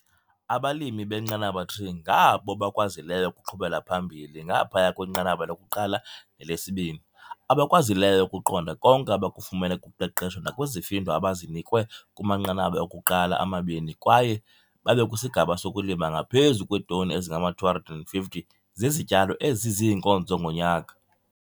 Abalimi beNqanaba 3 ngabo bakwazileyo ukuqhubela phambili ngaphaya kwenqanaba loku-1 nelesi-2, abakwazileyo ukuqonda konke abakufumene kuqeqesho nakwizifundo abazinikwe kumanqanaba okuqala amabini kwaye babe kwisigaba sokulima ngaphezu kweetoni ezingama-250 zezityalo eziziinkonzo ngonyaka.